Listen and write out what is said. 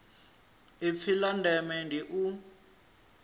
ipfi la ndeme ndi u